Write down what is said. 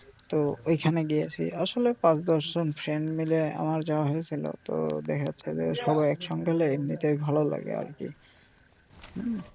তো ওখানে গিয়েসি আসলে পাঁচ দশ জন friend মিলে আমার যাওয়া হইসিলো তো দেখা যাচ্ছে যে সবাই একসঙ্গে গেলে এমনিতেই ভালো লাগে আর কি.